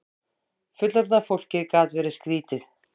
Fullorðna fólkið gat verið skrýtið.